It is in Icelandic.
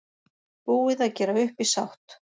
Búið að gera upp í sátt